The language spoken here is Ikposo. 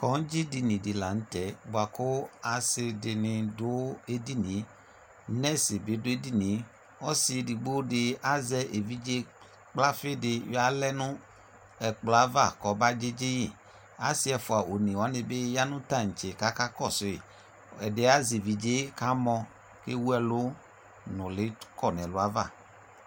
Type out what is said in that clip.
Kɔŋdzɩdini dɩ la nʋtɛ bʋakʋ asɩdɩnɩ dʋ edinie ; nɛsɩ bɩ dʋ edinie , ɔsɩ edigbodɩ azɛ evidze gblafɩdɩ yɔalɛ nʋ ɛkplɔava kɔba dzɩdzɩyɩ; asɩ ɛfʋa onewanɩ bɩ ya nʋ taŋtse k'aka kɔsʋyɩ Ɛdɩɛ azɛ evidze kamɔ ; ewuɛlʋ nʋlɩ kɔ n'ɛlʋava